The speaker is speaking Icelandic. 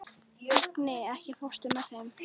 Agni, ekki fórstu með þeim?